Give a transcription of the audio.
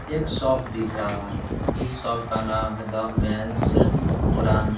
एक शॉप दिख रहा है जिसका नाम है द मेंस ब्रांड --